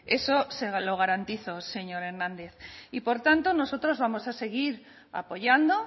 eso se lo garantizo señor hernandez y por tanto nosotros vamos a seguir apoyando